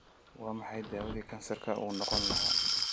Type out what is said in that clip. Waa maxay dawadii kansarka u noqon lahaa?